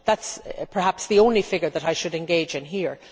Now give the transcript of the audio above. That is perhaps the only figure that I should engage in here.